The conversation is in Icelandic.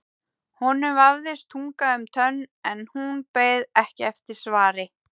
Honum vafðist tunga um tönn en hún beið ekki eftir svari.